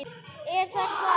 Er það hvað.?